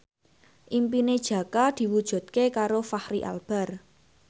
impine Jaka diwujudke karo Fachri Albar